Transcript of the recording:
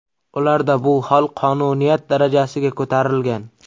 Ularda bu hol qonuniyat darajasiga ko‘tarilgan.